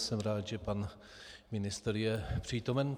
Jsem rád, že pan ministr je přítomen.